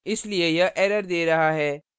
इसलिए यह error दे रहा है